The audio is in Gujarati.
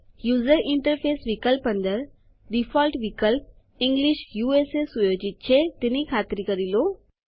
યુઝર ઇન્ટરફેસ વિકલ્પ અંદર ડીફોલ્ટ મૂળભૂત વિકલ્પ ઇંગ્લિશ યુએસએ સુયોજિત છે તેની ખાતરી કરી લો